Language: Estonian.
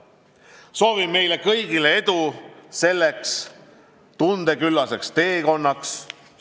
" Soovin meile kõigile edu selleks tundeküllaseks teekonnaks!